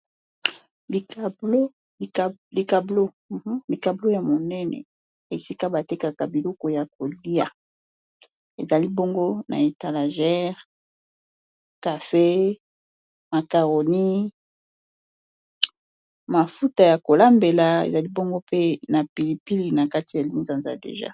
likablo ya monene esika batekaka biloko ya kolia eza libongo na etalajere cafe makaroni mafuta ya kolambela eza libongo pe na pilipili na kati ya lizanza deja